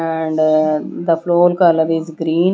And the floor color is green.